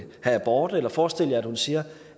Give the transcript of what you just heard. have abort eller forestil jer at hun siger